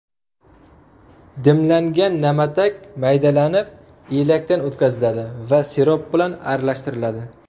Dimlangan na’matak maydalanib, elakdan o‘tkaziladi va sirop bilan aralashtiriladi.